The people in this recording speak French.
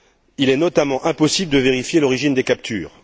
Il est notamment impossible de vérifier l'origine des captures.